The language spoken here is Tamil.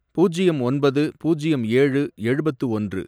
பூஜ்யம் ஒன்பது, பூஜ்யம் ஏழு, எழுபத்து ஒன்று